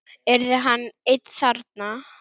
Yrði hann einn þarna?